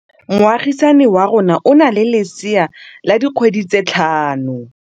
Moagisane wa rona o na le lesea la dikgwedi tse tlhano.